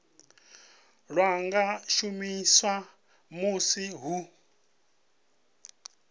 lwa nga shumiswa musi hu